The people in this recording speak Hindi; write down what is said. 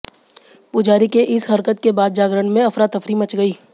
पुजारी के इस हरकत के बाद जागरण में अफरातफरी मच गई